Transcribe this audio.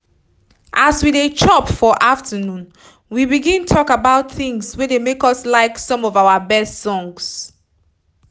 as we dey chop for afternoon we begin talk about things wey make us like some of our best songs